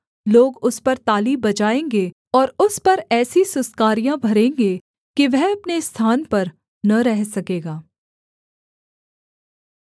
लोग उस पर ताली बजाएँगे और उस पर ऐसी सुसकारियाँ भरेंगे कि वह अपने स्थान पर न रह सकेगा